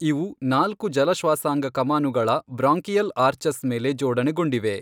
ಇವು ನಾಲ್ಕು ಜಲಶ್ವಾಸಾಂಗ ಕಮಾನುಗಳ ಬ್ರಾಂಕಿಯಲ್ ಆರ್ಚಸ್ ಮೇಲೆ ಜೋಡಣೆಗೊಂಡಿವೆ.